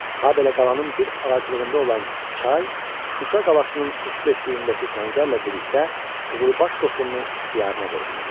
Habelə qalanın bir ağaclığında olan çay, Şuşa qalasının üç versliyindəki səngərlə birlikdə qızılbaş qoşununun ixtiyarına verilməlidir.